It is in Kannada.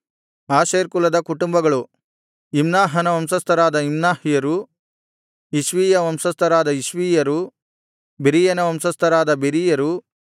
ಆಶೇರ್ ಕುಲದ ಕುಟುಂಬಗಳು ಇಮ್ನಾಹನ ವಂಶಸ್ಥರಾದ ಇಮ್ನಾಹ್ಯರು ಇಷ್ವೀಯ ವಂಶಸ್ಥರಾದ ಇಷ್ವೀಯರು ಬೆರೀಯನ ವಂಶಸ್ಥರಾದ ಬೆರೀಯರು